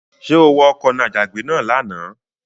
Ṣé o wa ọkọ̀ n'àjàgbé náà lánàá?